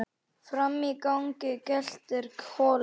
Frammi í gangi geltir Kolur.